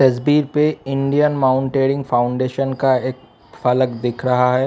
पे Indian mountaineering foundation का एक फलक दिख रहा है।